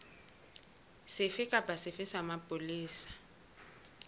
sefe kapa sefe sa mapolesa